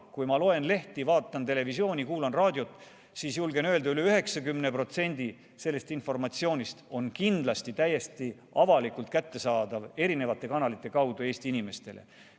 Kui ma loen lehti, vaatan televisiooni ja kuulan raadiot, siis julgen öelda, et üle 90% sellest informatsioonist on kindlasti täiesti avalikult kättesaadav erinevate kanalite kaudu Eesti inimestele.